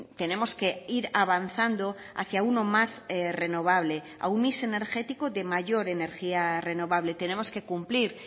tenemos que ir avanzando hacia uno más renovable a un mix energético de mayor energía renovable tenemos que cumplir